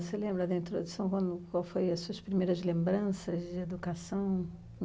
Você lembra, dentro de São Rômulo, quais foram as suas primeiras lembranças de educação?